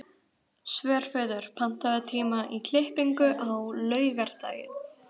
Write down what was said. Svörfuður, pantaðu tíma í klippingu á laugardaginn.